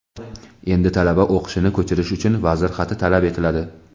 Endi talaba o‘qishini ko‘chirish uchun vazir xati talab etiladi.